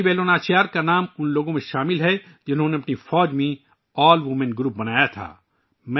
رانی ویلو ناچیار کا نام ان لوگوں میں شامل ہے جنہوں نے اپنی فوج میں پہلی بار آل ویمن گروپ بنایا